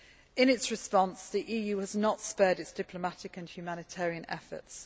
In its response, the EU has not spared its diplomatic and humanitarian efforts.